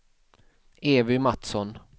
Evy Matsson